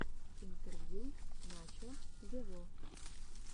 интервью начо вево